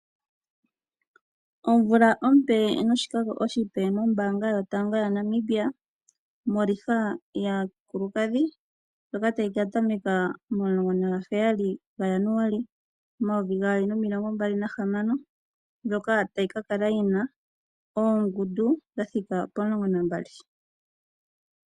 Omvula ompe noshikako oshipe mombanga yotango yaNamibia moliga yaakulukadhi ndyoka tayi ka tameka momulongo naga heyali gajanuali omayovi gaali nomilongo mbali nahamano ndyoka tayi ka kala yina oongundu dhathika pomulongo nambali.